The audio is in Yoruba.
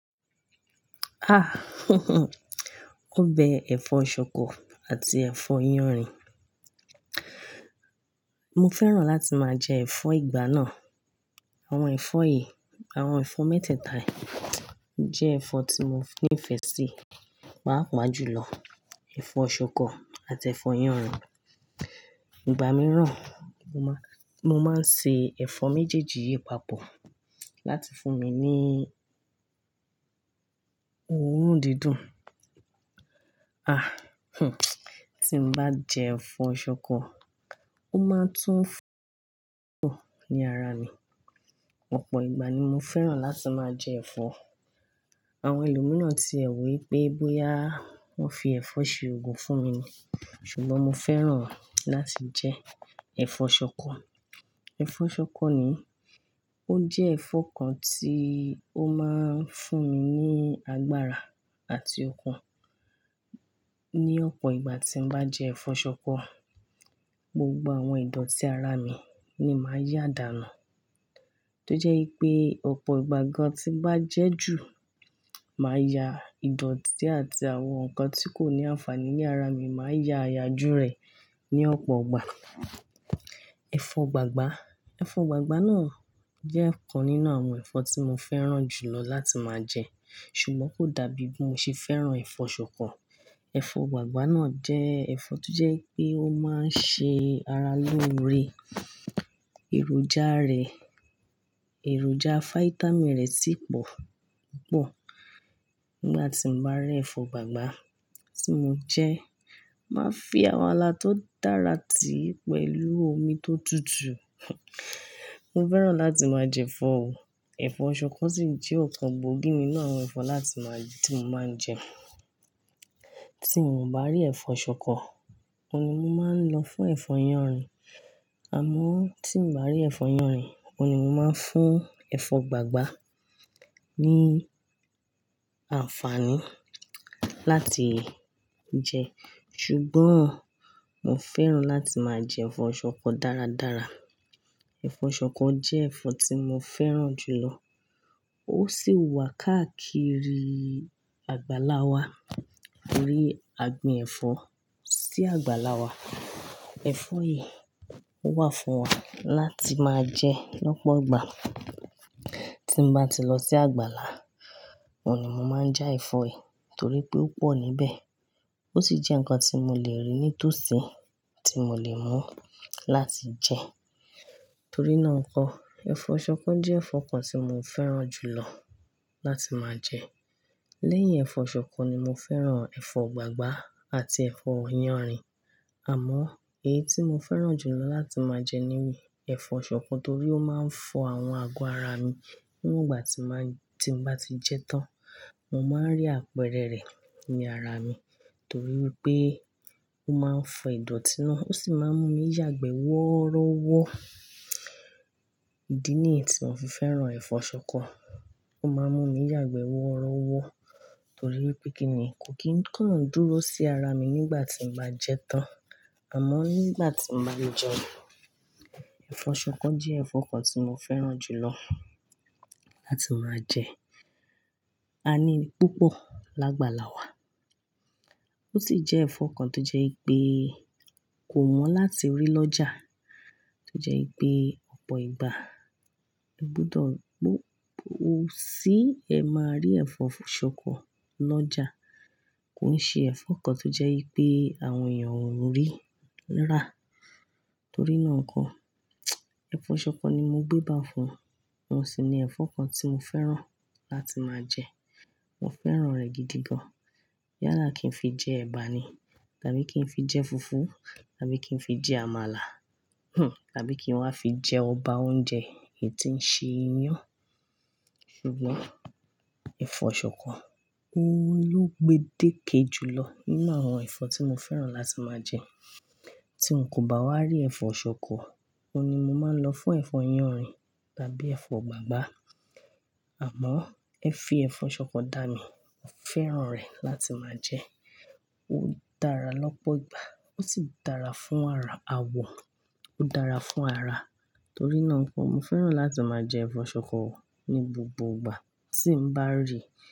Ah óbẹ ẹ̀fọ́ ṣòkò àti ẹ̀fọ́ iyanrìn. Mo fẹ́ràn láti máa jẹ ẹ̀fọ́ ìgbá náà. Àwọn ẹ̀fọ́ yìí, àwọn ẹ̀fọ́ mẹ́tẹ́ẹ̀ta yìí jẹ́ ẹ̀fọ́ tí mo ní ìfẹ́ sí, páa pa jù lọ. Ẹ̀fọ́ ṣòkò àti ẹ̀fọ́ iyanrìn. Ìgbà mìíràn, mo máa, mo máa ń ṣe ẹ̀fọ́ méjèèjì yìí papọ̀ láti fún mi ní òórùn dídùn. Ah tí n bá jẹ ẹ̀fọ́ ṣòkò, ó máa tún ní ara mi. Ọ̀pọ̀ ìgbà ni mo fẹ́ràn láti máa jẹ ẹ̀fọ́. Àwọn ẹlòmíràn ti ẹ̀ wí pé bóyá wọ́n fi ẹ̀fọ́ ṣe ògùn fún mi ni. Ṣùgbọ́n mo fẹ́ràn láti jẹ ẹ̀fọ́ ṣòkò. Ẹ̀fọ́ ṣòkò ni, ó jẹ́ ẹ̀fọ́ kan tí ó máa ń fún mi ní agbára àti okun. Ni ọ̀pọ̀ ìgbà tí n bá jẹ ẹ̀fọ́ ṣòkò, gbogbo àwọn ìdotí ara mi ni màá yá dànù. Tójẹ́ wi pé ọ̀pọ̀ ìgbà gan tí bá jẹ́ jù, màá ya ìdọ̀tí àti àwọn nǹkan tí kò ní àǹfààní ní ara mi, màá ya àyà jú rẹ̀ ní ọ̀pọ̀ ìgbà. Ẹ̀fọ́ gbàgbá, ẹ̀fọ́ gbàgbá náà jẹ́ ọ̀kan nínú àwọn ẹ̀fọ́ tí mo fẹ́ràn jù lọ láti máa jẹ. Ṣùgbọ́n kò dàbí bí mo ṣe fẹ́ràn ẹ̀fọ́ ṣòkò. Ẹ̀fọ́ gbàgbá náà jẹ́ ẹ̀fọ́ tó jẹ́ pé ó máa ń ṣe ara lóore. Èròjà rẹ̀, èròjà fáítámì rẹ̀ sì pọ̀ púpọ̀. Nígbà tí mo bá rí ẹ̀fọ́ gbàgbá tí mo jẹ, màá fi àmàlà tó dára tì í pẹ̀lú omi tó tutù. Mo fẹ́ràn láti máa jẹ ẹ̀fọ́ o. Ẹ̀fọ́ ṣòkò sì jẹ́ ọ̀kan gbòógì nínú àwọn ẹ̀fọ́ láti máa jẹ́ tí mo máa ń jẹ. Tí mo bà rí ẹ̀fọ́ ṣòkò, òun ni mo máa ń lọ fún ẹ̀fọ́ iyanrìn. Àmọ́ tí mo bà rí ẹ̀fọ́ iyanrìn, òun ni mo máa ń fún ẹ̀fọ́ gbàgbá ní àǹfààní láti jẹ. Ṣùgbọ́n mo fẹ́ràn láti máa jẹ ẹ̀fọ́ ṣòkò dáradára. Ẹ̀fọ́ ṣòkò jẹ́ ẹ̀fọ́ tí mo fẹ́ràn jù lọ. Ó sì wà káàkiri àgbàlá wa. TOrí agbín ẹ̀fọ́ sí àgbàlá wa. Ẹ̀fọ́ yìí ó wà fún wa láti máa jẹ lọ́pọ̀ ìgbà. Tí n bá ti lọ sí àgbàlá, òun ni mo máa ń já ẹ̀fọ́ yìí torí pé ó pọ̀ níbẹ̀. Ó sì jẹ́ nǹkan tí mo le rí nítòsí tí mo le mú láti jẹ. Torí náà ǹkọ́, ẹ̀fọ́ ṣòkò jẹ́ ẹ̀fọ́ kan tí mo fẹ́ràn jù lọ láti máa jẹ. Lẹ́yìn ẹ̀fọ́ ṣòkò ni mo fẹ́ràn ẹ̀fọ́ gbàgbá àti ẹ̀fọ́ iyanrìn. Àmọ́ èyí tí mo fẹ́ràn jù lọ láti máa jẹ ni wí ẹ̀fọ́ ṣòkò torí ó máa ń fọ àwọn àgọ́ ara mi. Níwongbà tí máa ń, tí n bá ti jẹ́ tán, mo máa ń rí àpẹrẹ rẹ̀ ní ara mi torí wi pé ó máa ń fọ ìdọ̀tí náà. Ó sì máa ń mú mi yàgbẹ́ wọ́rọ́wọ́. Ìdí nìyí tí mo fi fẹ́ràn ẹ̀fọ́ ṣòkò. Ó máa ń mú mi yàgbẹ́ wọ́rọ́wọ́ torí pé kí ni kò kín kàn dúró sí ara mi nígbà tí n bá jẹ tán. Àmọ́ nígbà tí n bá le jẹ, ẹ̀fọ́ ṣòkò jẹ́ ẹ̀fọ́ kan tí mo fẹ́ràn jù lọ láti máa jẹ. A ní i púpọ̀ lágbàlá wa. Ó sì jẹ́ ẹ̀fọ́ kan tó jẹ́ pé kò wọ̀n láti rí lọ́jà. Tójẹ́ pé ọ̀pọ̀ ìgbà, ó gbọdọ̀ bó-- o sì ẹ máa rí ẹ̀fọ́ ṣòkò lọ́jà. Kò ń ṣe ẹ̀fọ́ kan tó jẹ́ pé àwọn èèyàn ó rí rá. Torí náà ǹkọ́, ẹ̀fọ́ ṣòkò ni mo gbé bá fún. Ó sì ni ẹ̀fọ́ kan tí mo fẹ́ràn láti máa jẹ. Mo fẹ́ràn rẹ̀ gidi gan. Yála kí n fi jẹ ẹ̀bà ni tàbí kí n fi jẹ fùfú tàbí kí n fi jẹ àmàlà tàbí kí n wá fi jẹ ọba oúnjẹ èyí tí ń ṣe iyán. Ṣùgbọ́n ẹ̀fọ́ ṣòkò, ó ló gbé déke jù lọ nínú àwọn ẹ̀fọ́ tí mo fẹ́ràn láti máa jẹ. Tí n kò bá wá rí ẹ̀fọ́ ṣòkò, òun ni mo máa ń lọ fún ẹ̀fọ́ yanrìn tàbí ẹ̀fọ́ gbàgbá. Àmọ́ ẹ fi ẹ̀fọ́ ṣòkò dá mi, mo fẹ́ràn rẹ̀ láti máa jẹ. Ó dára lọ́pọ̀ ìgbà ó sì dára fún ara, àwọ̀, ó dára fún ara. Torí náà ǹkọ́, mo fẹ́ràn láti máa jẹ ẹ̀fọ́ ṣòkò ní gbogbo ìgbà tí n bá rí i.